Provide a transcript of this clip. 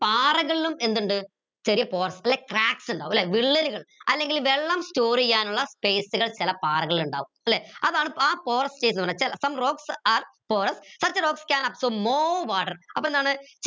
പാറകളിലും എന്തിണ്ട് ചെറിയ pores അല്ലെ cracks ഇണ്ടാവും ല്ലെ വിള്ളലുകൾ അല്ലെങ്കിൽ വെള്ളം store ചെയ്യാനുള്ള space കൾ ചില പാറകളിൽ രണ്ടാവും ല്ലെ അതാണ് ആ porou ന്ന് പറഞ്ഞാൽ some rocks have pore such rocks cans absorb more water അപ്പൊ എന്താണ്